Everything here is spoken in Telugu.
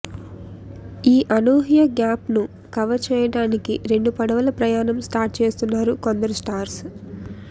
ఈ అనూహ్య గ్యాప్ను కవర్ చేయడానికి రెండు పడవల ప్రయాణం స్టార్ట్ చేస్తున్నారు కొందరు స్టార్స్